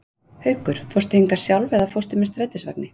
Haukur: Fórstu hingað sjálf eða fórstu með strætisvagni?